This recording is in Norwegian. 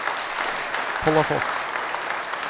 Follafoss